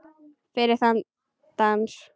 Fyrir þann dans, það kvöld.